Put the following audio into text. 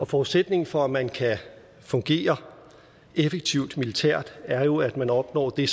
forudsætningen for at man kan fungere effektivt militært er jo at man opnår det